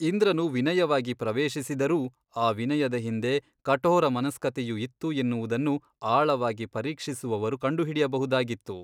ಇಂದ್ರನು ವಿನಯವಾಗಿ ಪ್ರವೇಶಿಸಿದರೂ ಆ ವಿನಯದ ಹಿಂದೆ ಕಠೋರ ಮನಸ್ಕತೆಯು ಇತ್ತು ಎನ್ನುವುದನ್ನು ಆಳವಾಗಿ ಪರೀಕ್ಷಿಸುವವರು ಕಂಡುಹಿಡಿಯಬಹುದಾಗಿತ್ತು.